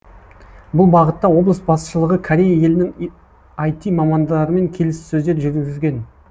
бұл бағытта облыс басшылығы корея елінің іт мамандарымен келіссөздер жүргізген